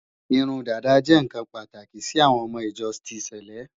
Irun dàda jẹ́ ǹkan pàtàkì sí àwọn ọmọ ìjọ ti sèlé